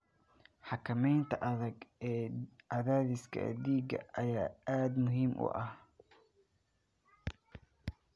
Xakamaynta adag ee cadaadiska dhiigga ayaa aad muhiim u ah.